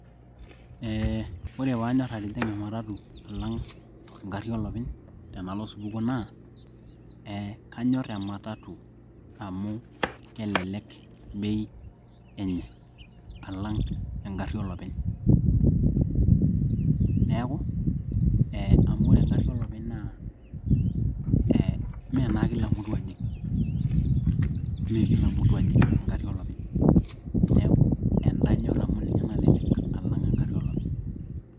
Eeeh ore paanyor atijing'a ematatu alang enkari olopeny tenalo osupuko naa eeh kanyor ematatu amu kelelek bei enye alang engari olopeny neeku ee amu ore engari olopeny naa ee mee naa kila mtu ojing mee kila mtu ojing engari olopeny neeku enda anyor amu ninye nalelek alang engari olopeny.